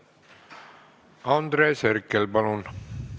Andres Herkel, palun!